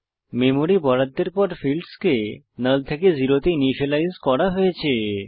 memory বরাদ্দের পর ফীল্ডসকে নাল থেকে জেরো তে ইনিসিয়েলাইজ করা হয়েছে